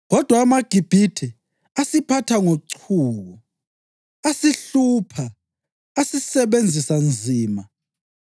Kodwa amaGibhithe asiphatha ngochuku, asihlupha, asisebenzisa nzima.